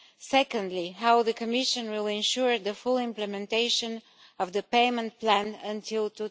Secondly, how will the Commission ensure the full implementation of the payment plan by